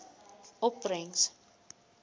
opbrengs